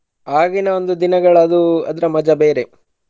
ಆಗಿನ ಒಂದು ದಿನಗಳದು ಅದರ ಮಜಾ ಬೇರೆ.